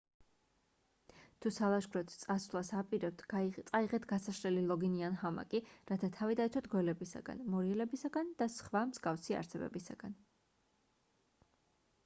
თუ სალაშქროდ წასვლას აპირებთ წაიღეთ გასაშლელი ლოგინი ან ჰამაკი რათა თავი დაიცვათ გველებისგან მორიელებისგან და სხვა მსგავსი არსებებისგან